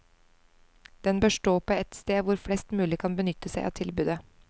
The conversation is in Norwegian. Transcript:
Den bør stå på et sted hvor flest mulig kan benytte seg av tilbudet.